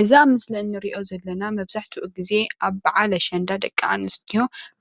እዚ ኣብ ምስሊ ንሪኦ ዘለና መብዛሕትኡ ግዘ ኣብ በዓል ኣሽንዳ ደቂ ኣንስትዮ